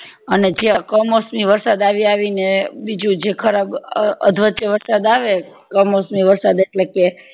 અને જે કમોસમી વરસાદ આવી આવી ને બીજું જે ખરાબ અધવચે વરસાદ આવે કમોસમી વરસાદ એટલે કે